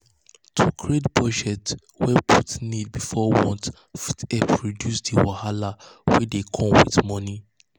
to create budget wey put needs before wants fit help reduce di wahala wey dey come with money.